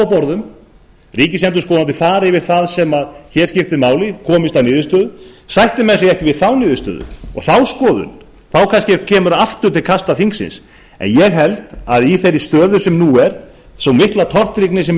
borðum að ríkisendurskoðandi fari yfir það sem hér skiptir máli og komist að niðurstöðu sætti menn sig ekki við þá niðurstöðu og þá skoðun þá kemur kannski aftur til kasta þingsins ég held að í þeirri stöðu sem nú er og vegna þeirrar miklu tortryggni sem